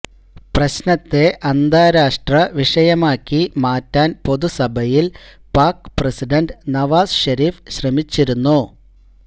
പ്രശ്നത്തെ അന്താരാഷ്ട്ര വിഷയമാക്കി മാറ്റാൻ പൊതു സഭയിൽ പാക് പ്രസിഡന്റ് നവാസ് ഷെരീഷ് ശ്രമിച്ചിരുന്നു